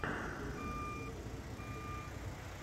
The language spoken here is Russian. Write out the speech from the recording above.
первая часть вокса пятьдесят четыре